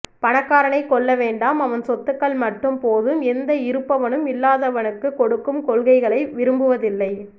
பணக்காரனைக் கொல்ல வேண்டாம் அவன் சொத்துக்கள் மட்டும் போதும் எந்த இருப்பவனும் இல்லாதவனுக்குக் கொடுக்கும் கொள்கைகளை விரும்புவதில்லை